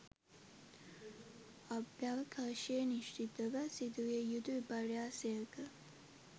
අභ්‍යවකාශයේ නිශ්චිතව සිදුවිය යුතු විපර්යාසයක